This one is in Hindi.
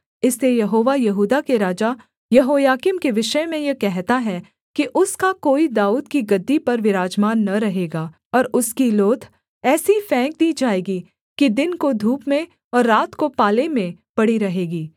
इसलिए यहोवा यहूदा के राजा यहोयाकीम के विषय में यह कहता है कि उसका कोई दाऊद की गद्दी पर विराजमान न रहेगा और उसकी लोथ ऐसी फेंक दी जाएगी कि दिन को धूप में और रात को पाले में पड़ी रहेगी